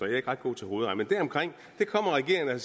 er ikke ret god til hovedregning men deromkring der kommer regeringen og